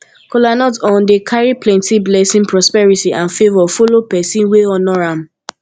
kolanut um dey kari plenti blessin prosperity and favor follow pesin wey honor am